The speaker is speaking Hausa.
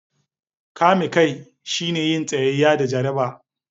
Kame kai shine yin tsayayya da jaraba.